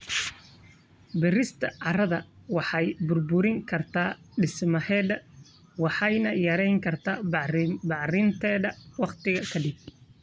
Beerista carrada waxay burburin kartaa dhismaheeda waxayna yareyn kartaa bacrinteeda waqti ka dib.